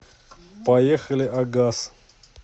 поехали агас